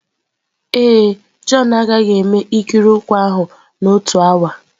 Ee e, Jọn agaghị eme ikiri ụkwụ ahụ n'otu awa.